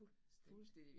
Fuldstændig